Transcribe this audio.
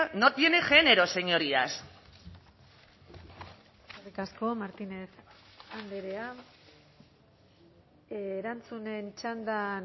no tiene género señorías eskerrik asko martínez andrea erantzunen txandan